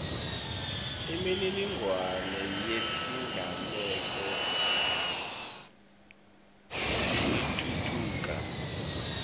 imininingwane yetigameko itfutfuka